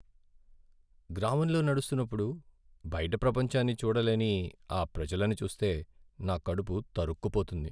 గ్రామంలో నడుస్తున్నప్పుడు, బైట ప్రపంచాన్ని చూడలేని ఆ ప్రజలను చూస్తే, నా కడుపు తరుక్కుపోతుంది.